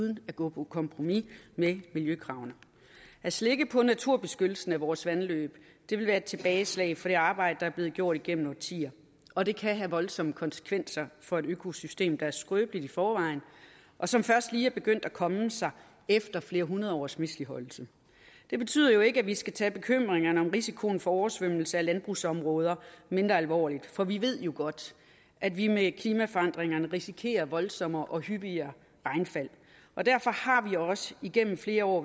man går på kompromis med miljøkravene at slække på naturbeskyttelsen af vores vandløb vil være et tilbageslag for det arbejde der er blevet gjort igennem årtier og det kan have voldsomme konsekvenser for et økosystem der er skrøbeligt i forvejen og som først lige er begyndt at komme sig efter flere hundrede års misligholdelse det betyder ikke at vi skal tage bekymringerne om risikoen for oversvømmelse af landbrugsområder mindre alvorligt for vi ved jo godt at vi med klimaforandringerne risikerer voldsommere og hyppigere regnfald og derfor har vi også gennem flere år